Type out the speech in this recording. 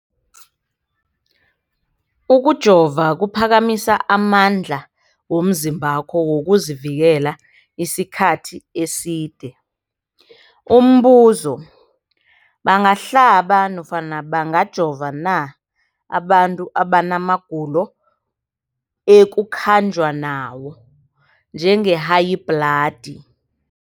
Ukujova kuphakamisa amandla womzimbakho wokuzivikela isikhathi eside. Umbuzo, bangahlaba nofana bangajova na abantu abana magulo ekukhanjwa nawo, njengehayibhladi?